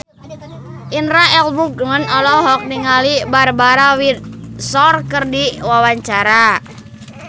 Indra L. Bruggman olohok ningali Barbara Windsor keur diwawancara